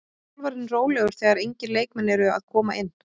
Er þjálfarinn rólegur þegar engir leikmenn eru að koma inn?